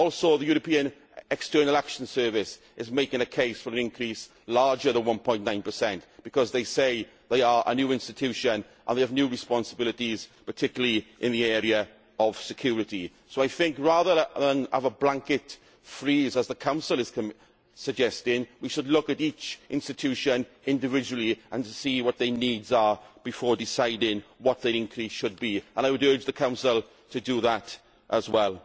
The European External Action Service is also making a case for an increase larger than 1.9 because they say they are a new institution and they have new responsibilities, particularly in the area of security. So I think that rather than have a blanket freeze, as the Council is suggesting, we should look at each institution individually and see what their needs are before deciding what their increase should be and I would urge the Council to do that as well.